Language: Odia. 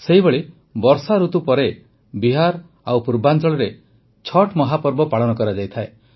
ସେହିଭଳି ବର୍ଷାଋତୁ ପରେ ବିହାର ଓ ପୂର୍ବାଂଚଳରେ ଛଠ୍ ମହାପର୍ବ ପାଳନ କରାଯାଇଥାଏ